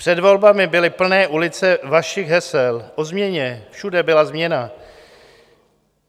Před volbami byly plné ulice vašich hesel o změně, všude byla změna.